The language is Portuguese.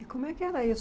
E como é que era isso?